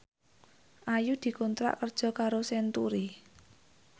Ayu dikontrak kerja karo Century